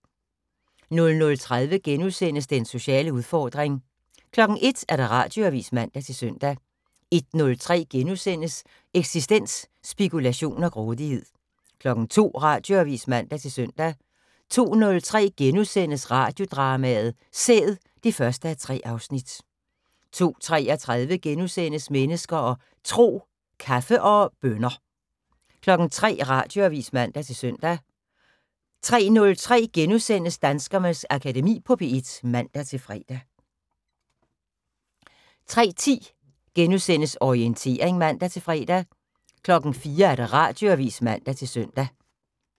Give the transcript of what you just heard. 00:30: Den sociale udfordring * 01:00: Radioavis (man-søn) 01:03: Eksistens: Spekulation og grådighed * 02:00: Radioavis (man-søn) 02:03: Radiodrama: Sæd (1:3)* 02:33: Mennesker og Tro: Kaffe og bønner * 03:00: Radioavis (man-søn) 03:03: Danskernes Akademi på P1 *(man-fre) 03:10: Orientering *(man-fre) 04:00: Radioavis (man-søn)